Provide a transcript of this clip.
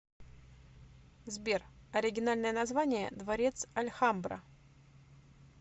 сбер оригинальное название дворец альхамбра